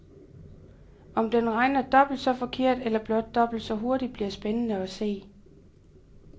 Om den regner dobbelt så forkert eller blot dobbelt så hurtigt bliver spændende at se.